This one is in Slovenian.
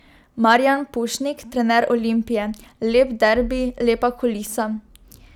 Marijan Pušnik, trener Olimpije: 'Lep derbi, lepa kulisa.